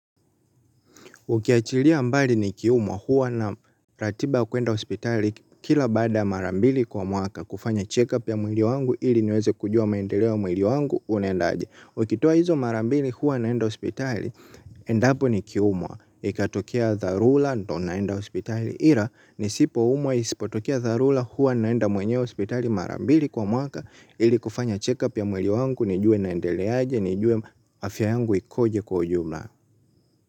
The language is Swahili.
Ukiachilia mbali nikiumwa huwa na ratiba kuenda hospitali kila baada ya mara mbili kwa mwaka kufanya check up ya mwili wangu ili niweze kujua maendeleo ya mwili wangu unaendaje. Ukitoa hizo mara mbili huwa naenda hospitali endapo nikiumwa ikatokea dharula ndio naenda hospitali ira nisipo umwa isipotokea dharula huwa naenda mwenyewe hospitali mara mbili kwa mwaka ili kufanya check up ya mwili wangu nijue naendele aje nijue afya yangu ikoje kwa ujumla.